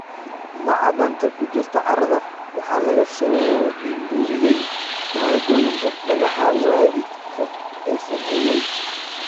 Macdanta ku jirta carrada waxaa laga soo minguuriyay maaddooyinka dhagaxa waalidka ee sameeyay.